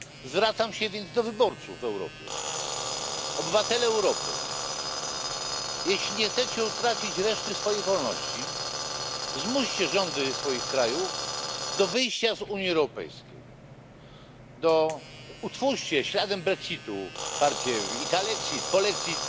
Zwracam się więc do wyborców w Europie. Obywatele Europy, jeśli nie chcecie utracić resztek wolności, zmuście rządy swoich krajów do wyjścia z Unii Europejskiej. Utwórzcie śladem brexitu partię italexit i polexit.